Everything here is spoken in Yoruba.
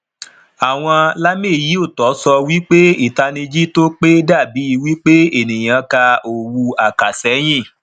àwọn lameyiotọ sọ wí pé itaniji tó pé da bí wípé ènìyàn ka òwu akaseyin